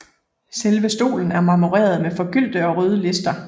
Selve stolen er marmoreret med forgyldte og røde lister